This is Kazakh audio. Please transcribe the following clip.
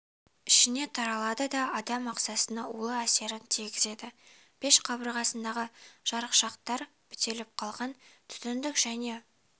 ішіне таралады да адам ағзасына улы әсерін тигізеді пеш қабырғасындағы жарықшақтар бітеліп қалған түтіндік және